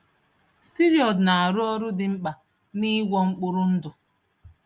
Steroid na-arụ ọrụ dị mkpa n'ịgwọ mkpụrụ ndụ.